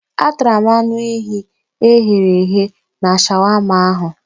Atara m anụ ehi e ghere eghe na shawama ahụ.